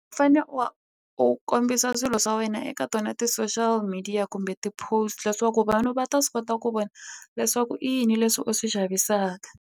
U fane u kombisa swilo swa wena eka tona ti-social media kumbe ti-post iwa ku vanhu va ta swi kota ku vona leswaku i yini leswi u swi xavisaka.